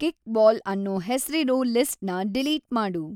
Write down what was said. kickball ಅನ್ನೋ ಹೆಸ್ರಿರೋ ಲಿಸ್ಟ್‌ನ ಡಿಲೀಟ್‌ ಮಾಡು